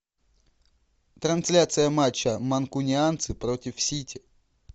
трансляция матча манкунианцы против сити